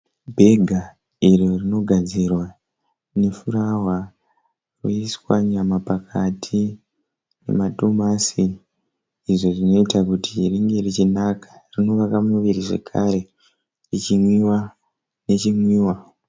Bhega iro rinogadzirwa nefurawa koiswa nyama pakati nemadomati izvo zvinoita kuti ringe richinaka, rinovaka muviri zvekare richinwiwa nechinwiwa.